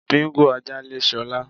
Bingo (ajá), le S̩o̩lá.